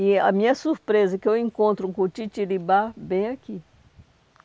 E a minha surpresa é que eu encontro um cutitiribá bem aqui.